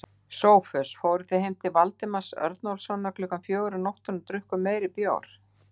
SOPHUS: Og fóruð heim til Valdimars Örnólfssonar klukkan fjögur um nóttina og drukkuð meiri bjór?